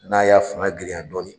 N'a y'a fanga girinya dɔɔnin